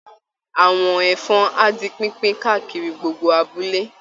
Àwọ̀n ẹ̀fọn á di pínpín káàkiri gbogbo abúlé